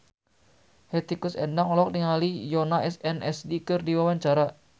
Hetty Koes Endang olohok ningali Yoona SNSD keur diwawancara